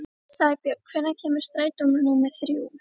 Sæbjörn, hvenær kemur strætó númer þrjú?